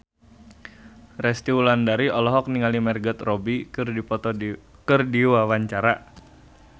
Resty Wulandari olohok ningali Margot Robbie keur diwawancara